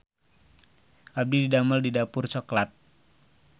Abdi didamel di Dapur Cokelat